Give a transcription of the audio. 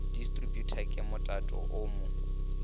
distributor ke motato o mo